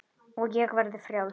Og ég verði frjáls.